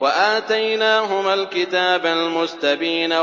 وَآتَيْنَاهُمَا الْكِتَابَ الْمُسْتَبِينَ